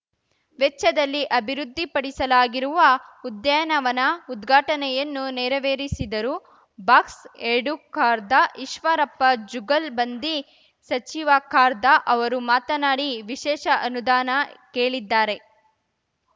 ವೆಚ್ಚದಲ್ಲಿ ಅಭಿವೃದ್ಧಿಪಡಿಸಲಾಗಿರುವ ಉದ್ಯಾನವನ ಉದ್ಘಾಟನೆಯನ್ನು ನೆರವೇರಿಸಿದರು ಬಾಕ್ಸಎರಡು ಖಾರ್ದಈಶ್ವರಪ್ಪ ಜುಗಲ್‌ಬಂದಿ ಸಚಿವ ಖಾರ್ದ ಅವರು ಮಾತನಾಡಿ ವಿಶೇಷ ಅನುದಾನ ಕೇಳಿದ್ದಾರೆ